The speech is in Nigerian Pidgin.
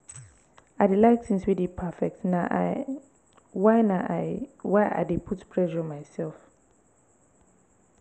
i dey like tins wey dey perfect na i why na i why i dey put pressure mysef.